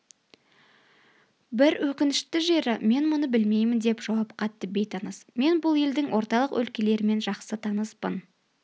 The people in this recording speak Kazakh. бір өкінішті жері мен мұны білмеймін деп жауап қатты бейтаныс мен бұл елдің орталық өлкелерімен жақсы таныспын